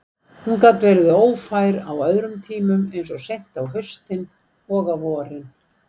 Hún gat verið ófær á öðrum tímum, eins og seint á haustin og á vorin.